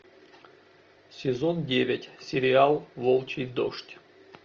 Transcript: сезон девять сериал волчий дождь